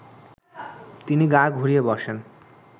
তিনি গা ঘুরিয়ে বসেন